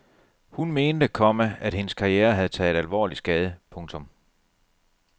Hun mente, komma at hendes karriere havde taget alvorligt skade. punktum